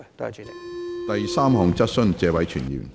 第三項質詢。